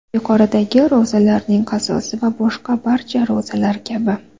Yuqoridagi ro‘zalarning qazosi va boshqa barcha ro‘zalar kabi.